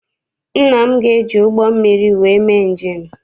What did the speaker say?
Nne m ga eji ụgbọ mmiri wee mee njem echi.